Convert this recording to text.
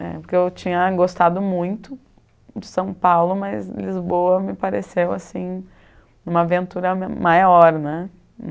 Porque eu tinha gostado muito de São Paulo, mas Lisboa me pareceu, assim, uma aventura maior, né?